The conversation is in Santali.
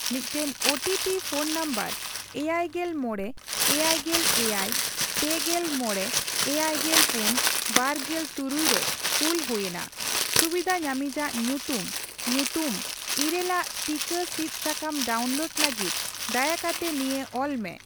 ᱢᱤᱫᱴᱟᱝ O T P phone number ᱮᱭᱟᱭᱜᱮᱞ ᱢᱚᱲᱮ, ᱮᱭᱟᱭᱜᱮᱞ ᱮᱭᱟᱭ, ᱯᱮᱜᱮᱞ ᱢᱚᱬᱮ, ᱮᱭᱟᱭᱜᱮᱞ ᱯᱩᱱ, ᱵᱟᱨᱜᱮᱞ ᱛᱩᱨᱩᱭ ᱨᱮ ᱠᱩᱞ ᱦᱩᱭᱮᱱᱟ ᱾ ᱥᱩᱵᱤᱫᱷᱟ ᱧᱟᱢᱤᱡᱟᱜ ᱧᱩᱛᱩᱢ ᱧᱩᱛᱩᱢ ᱘ ᱼᱟᱜ ᱴᱤᱠᱟᱹ ᱥᱤᱫ ᱥᱟᱠᱟᱢ ᱰᱟᱣᱩᱱᱞᱳᱰ ᱞᱟᱹᱜᱤᱫ ᱫᱟᱭᱟ ᱠᱟᱛᱮ ᱱᱤᱭᱟᱹ ᱚᱞ ᱢᱮ